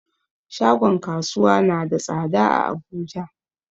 Shagon kasuwa na da tsada a abuja